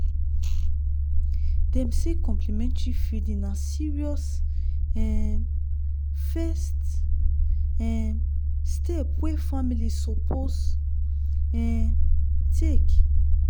dem say complementary feeding na serious um first um step wey family suppose um take